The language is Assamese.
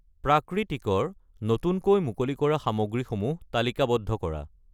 প্ৰাকৃতিক ৰ নতুনকৈ মুকলি কৰা সামগ্ৰীসমূহ তালিকাবদ্ধ কৰা।